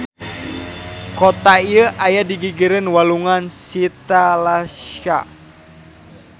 Kota ieu aya di gigireun Walungan Shitalakshya.